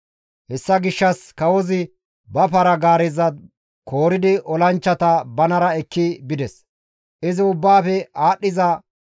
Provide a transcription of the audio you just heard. Hessa gishshas kawozi ba para-gaareza kooridi olanchchata banara ekki bides. Olason paranne para-gaareta